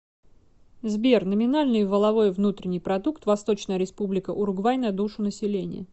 сбер номинальный валовой внутренний продукт восточная республика уругвай на душу населения